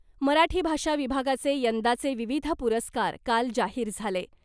मराठी भाषा विभागाचे यंदाचे विविध पुरस्कार काल जाहीर झाले .